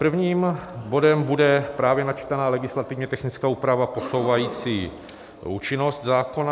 Prvním bodem bude právě načtená legislativně technická úprava posouvající účinnost zákona.